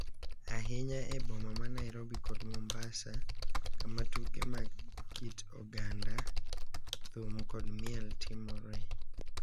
Ahinya e boma ma Nairobi kod Mombasa, kama tuke mag kit oganda, thum, kod miel timore